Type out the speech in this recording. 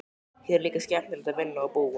Hér er líka skemmtilegt að vinna og búa.